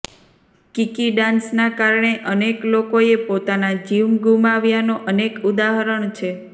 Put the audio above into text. કીકી ડાન્સના કારણે અનેક લોકોએ પોતાના જીવ ગુમાવ્યાના અનેક ઉદાહરણ છે